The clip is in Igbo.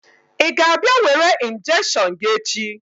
Ị ga-abịa were injection gị echi?